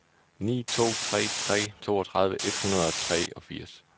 ni to tre tre toogtredive et hundrede og treogfirs